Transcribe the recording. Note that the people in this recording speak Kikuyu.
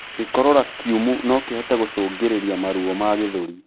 Gikorora kiumu nokihote gũcũngĩrĩrĩa maruo ma gĩthũri